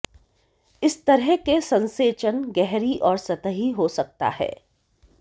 इस तरह के संसेचन गहरी और सतही हो सकता है